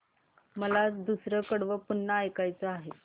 मला दुसरं कडवं पुन्हा ऐकायचं आहे